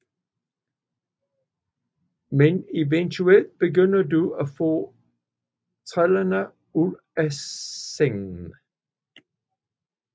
Men eventuelt begynder du at få trådene ud af sangen